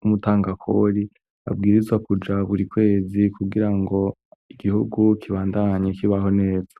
wumutangakori abwirizwa kuja buri kwezi kugira ngo igihugu kibandanye kibaho neza.